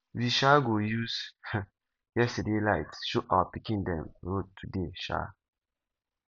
we um go use um yesterday light show our pikin dem road today um